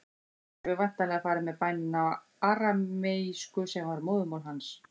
Jesús hefur væntanlega farið með bænina á arameísku, sem var móðurmál hans.